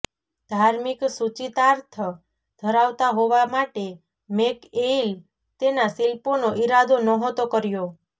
ધાર્મિક સૂચિતાર્થ ધરાવતા હોવા માટે મેકએઇલ તેના શિલ્પોનો ઇરાદો નહોતો કર્યો